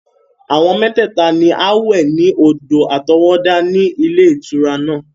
Àwa mẹ́tẹ̀ẹ̀ta ni a wẹ̀ ní odò àtọwọ́dá tí ó wà ní ilé ìtura náà.